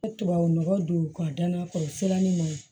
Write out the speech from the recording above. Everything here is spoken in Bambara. Tubabu nɔgɔ don ka da n'a kɔrɔ siranin ma ɲi